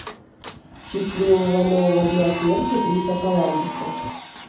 счастливого нового дня смерти криса коламбуса